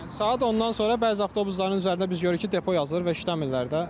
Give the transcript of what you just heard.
Saat 10-dan sonra bəzi avtobusların üzərində biz görürük ki, depo yazılır və işləmirlər də.